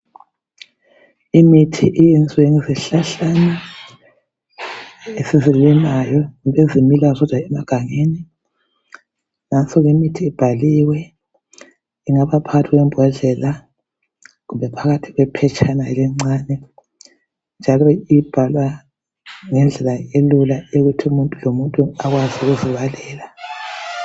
Imithi eyenziwe ngezihlahlana ezizimilelayo ezimila zodwa emagangeni , nanso imithi ibhaliwe , ingaba phakathi kwembodlela kumbe phakathi kwephetshana elincane njalo ibhalwa ngendlela elula eyokuthi umuntu lomuntu ekwazi ukuzibalela